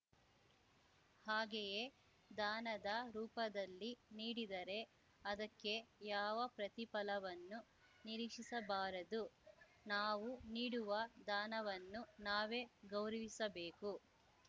ಹಾಗೆಯೇ ದಾನದ ರೂಪದಲ್ಲಿ ನೀಡಿದರೆ ಅದಕ್ಕೆ ಯಾವ ಪ್ರತಿಫಲವನ್ನೂ ನಿರೀಕ್ಷಿಸಬಾರದು ನಾವು ನೀಡುವ ದಾನವನ್ನು ನಾವೇ ಗೌರವಿಸಬೇಕು